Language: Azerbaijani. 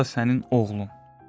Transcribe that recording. bu da sənin oğlun.